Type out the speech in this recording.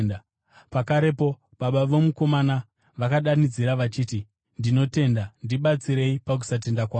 Pakarepo baba vomukomana vakadanidzira vachiti, “Ndinotenda; ndibatsirei pakusatenda kwangu!”